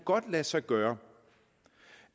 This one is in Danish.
lade sig gøre